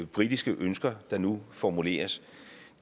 britiske ønsker der nu formuleres